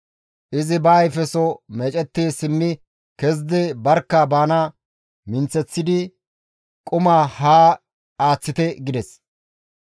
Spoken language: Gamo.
Izi ba ayfeso meecetti simmi kezidi barkka bana minththeththidi, «Quma haa aaththite!» gides.